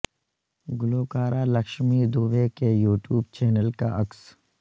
گلوکارہ لکشمی دوبے کے YouTube channel کا عکس